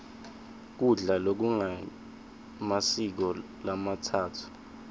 kudla lokungemasiko lamatsatfu